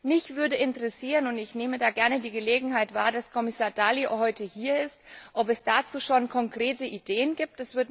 Mich würde interessieren und ich nehme da gerne die Gelegenheit wahr, dass Kommissar Dalli heute hier ist ob es dazu schon konkrete Ideen gibt.